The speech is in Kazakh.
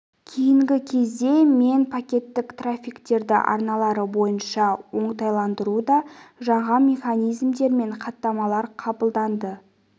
кейінгі кезде мен пакеттік трафиктерді арналары бойынша оңтайландыруда жаңа механизмдер мен хаттамалар қабылданды